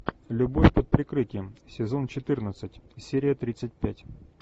любовь под прикрытием сезон четырнадцать серия тридцать пять